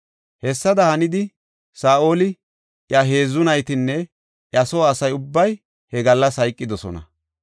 Hessada hanidi Saa7oli, iya heedzu naytinne iya soo asa ubbay he gallas hayqidosona.